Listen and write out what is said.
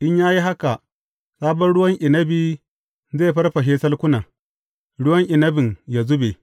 In ya yi haka, sabon ruwan inabi zai farfashe salkunan, ruwan inabin yă zube,